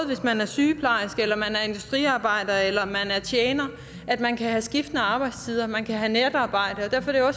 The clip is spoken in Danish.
hvis man er sygeplejerske eller hvis man er industriarbejder eller man er tjener at man kan have skiftende arbejdstider man kan have natarbejde og derfor er